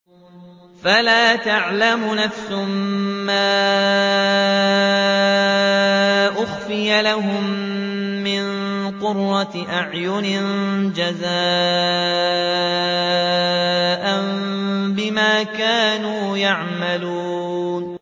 فَلَا تَعْلَمُ نَفْسٌ مَّا أُخْفِيَ لَهُم مِّن قُرَّةِ أَعْيُنٍ جَزَاءً بِمَا كَانُوا يَعْمَلُونَ